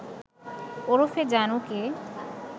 ওরফে জানুকে